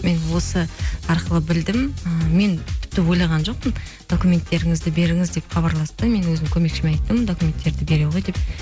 мен осы арқылы білдім ы мен тіпті ойлаған жоқпын документтеріңізді беріңіз деп хабарласты да мен өзімнің көмекшіме айттым документтерді бере қой деп